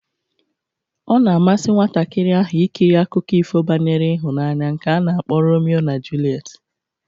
Ọ na-amasị nwatakịrị ahụ ikiri akụkọ ifo banyere ịhụnanya nke a na-akpọ Romio na julet